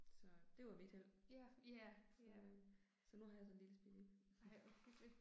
Så, det var mit held. Så øh så nu har jeg sådan en lille spirrevip, mh